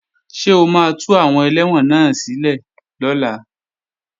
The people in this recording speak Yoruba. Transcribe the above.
Ṣé o máa tú àwọn ẹlẹ́wọ̀n náà sílẹ̀ lọ́la?